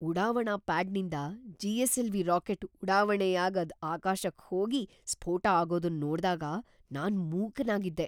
ಉಡಾವಣಾ ಪ್ಯಾಡ್ನಿಂದ GSLV rocket ಉಡಾವಣೆ ಯಾಗ್ ಅದ್ ಆಕಾಶಕ್ ಹೋಗಿ ಸ್ಫೋಟ ಆಗೋದನ್ ನೋಡ್ದಾಗ ನಾನ್ ಮೂಕನಾಗಿದ್ದೆ.